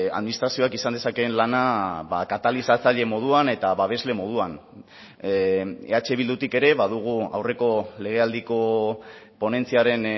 administrazioak izan dezakeen lana katalizatzaile moduan eta babesle moduan eh bildutik ere badugu aurreko legealdiko ponentziaren